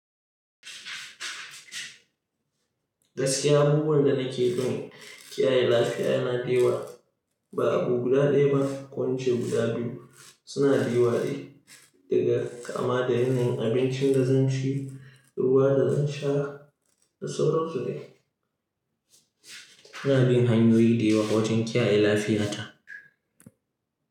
Gaskiya abubuwan da nake gani, kiyaye lafiya yana da yawa. Ba abu guda ɗaya ba, ko ince guda biyu suna da yawa ne daga kama da yanayin abincin da zan ci, ruwa da zan sha da sauransu dai. Ina bin hanyoyi da yawa wajen kiyaye lafiyata.